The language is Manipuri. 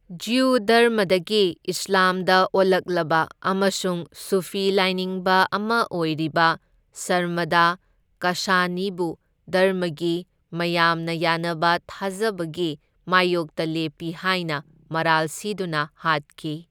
ꯖ꯭ꯌꯨ ꯙꯔꯃꯗꯒꯤ ꯏꯁ꯭ꯂꯥꯝꯗ ꯑꯣꯜꯂꯛꯂꯕ ꯑꯃꯁꯨꯡ ꯁꯨꯐꯤ ꯂꯥꯏꯅꯤꯡꯕ ꯑꯃ ꯑꯣꯏꯔꯤꯕ ꯁꯔꯃꯗ ꯀꯥꯁꯥꯅꯤꯕꯨ ꯙꯔꯃꯒꯤ ꯃꯌꯥꯝꯅ ꯌꯥꯅꯕ ꯊꯥꯖꯕꯒꯤ ꯃꯥꯢꯌꯣꯛꯇ ꯂꯦꯞꯄꯤ ꯍꯥꯏꯅ ꯃꯔꯥꯜ ꯁꯤꯗꯨꯅ ꯍꯥꯠꯈꯤ꯫